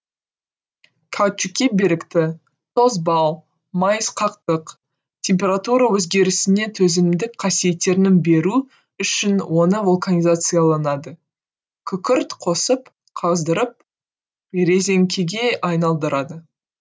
каучукке беріктік тозбау майысқақтық температура өзгерісіне төзімдік қасиеттерін берү үшін оны вулканизацияланады күкірт қосып қыздырып резеңкеге айналдырады